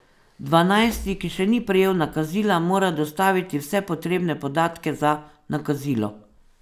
Dvanajsti, ki še ni prejel nakazila, mora dostaviti vse potrebne podatke za nakazilo.